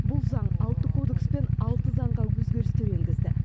бұл заң алты кодекс пен алты заңға өзгерістер енгізді